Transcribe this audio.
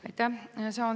Aitäh!